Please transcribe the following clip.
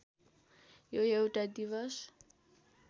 यो एउटा दिवस